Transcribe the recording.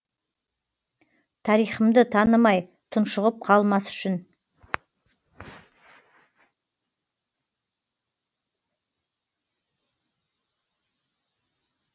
тарихымды танымай тұншығып қалмас үшін